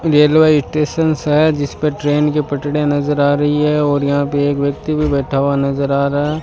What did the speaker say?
railway station है जिसपे train के पटरी नजर आ रही है और यहां पर एक व्यक्ति भी बैठा हुआ नजर आ रहा --